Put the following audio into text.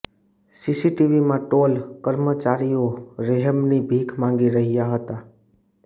સીસીટીવીમાં toll કર્મચારીઓ રહેમની ભીખ માંગી રહ્યા હતા